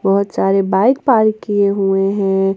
बहोत सारे bike park किए हुए हैं।